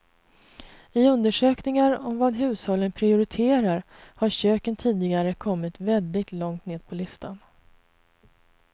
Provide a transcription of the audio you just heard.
I undersökningar om vad hushållen prioriterar har köken tidigare kommit väldigt långt ned på listan.